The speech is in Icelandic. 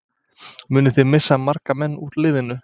Munið þið missa marga menn úr liðinu?